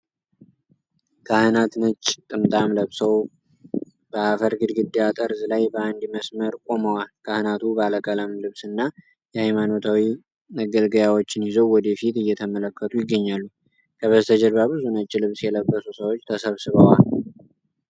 ካህናት ነጭ ጥምጣም ለብሰው፣ በአፈር ግድግዳ ጠርዝ ላይ በአንድ መስመር ቆመዋል። ካህናቱ ባለቀለም ልብስና የሃይማኖታዊ መገልገያዎችን ይዘው ወደፊት እየተመለከቱ ይገኛሉ፤ ከበስተጀርባ ብዙ ነጭ ልብስ የለበሱ ሰዎች ተሰብስበዋል።